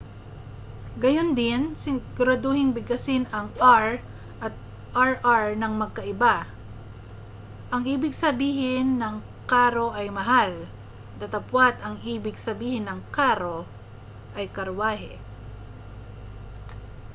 gayundin siguraduhing bigkasin ang r at rr nang magkaiba ang ibig sabihin ng caro ay mahal datapwa't ang ibig sabihin ng carro ay karwahe